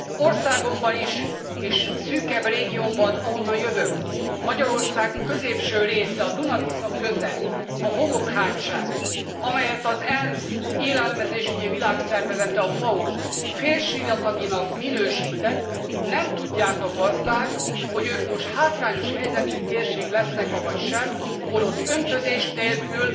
Országomban is és szűkebb régiómban, ahonnan jövök, Magyarország középső része, a Duna Tisza köze, a Homokhátság, amelyet az ENSZ Élelmezésügyi Világszervezete, a FAO félsivataginak minősített, nem tudják a gazdák, hogy ők most hátrányos helyzetű térség lesznek avagy sem, holott öntözés nélkül